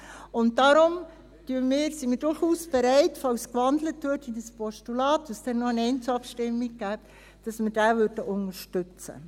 Darum sind wir durchaus bereit – falls in ein Postulat gewandelt würde und es dann noch eine Einzelabstimmung gäbe –, diesen zu unterstützen.